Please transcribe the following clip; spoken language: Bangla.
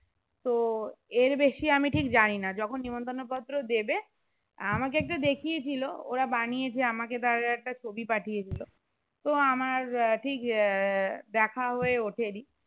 তো এর বেশি আমি ঠিক জানি না যখন নিমন্ত্রণ পত্র দেবে আমাকে একটা দেখিয়ে ছিল ওরা বানিয়েছে আমাকে তার একটা ছবি পাঠিয়েছিল তো আমার আহ ঠিক আহ দেখা হয়ে ওঠেনি